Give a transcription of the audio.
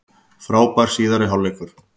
Frábær síðari hálfleikur